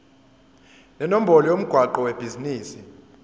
nenombolo yomgwaqo webhizinisi